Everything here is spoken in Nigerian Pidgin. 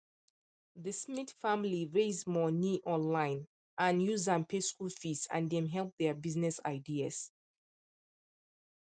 the smith family raise money online and use am pay school fees and dem help their business ideas